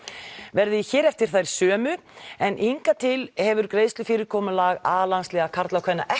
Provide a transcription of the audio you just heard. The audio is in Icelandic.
verði hér eftir þær sömu en hingað til hefur greiðslufyrirkomulag a landsliða karla og kvenna ekki